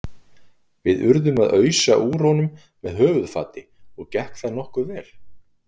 Við urðum að ausa úr honum með höfuðfati og gekk það nokkuð vel.